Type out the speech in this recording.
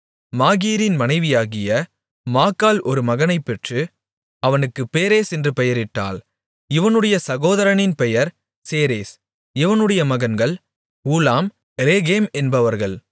மாகீரின் மனைவியாகிய மாக்காள் ஒரு மகனைப் பெற்று அவனுக்கு பேரேஸ் என்று பெயரிட்டாள் இவனுடைய சகோதரனின் பெயர் சேரேஸ் இவனுடைய மகன்கள் ஊலாம் ரேகேம் என்பவர்கள்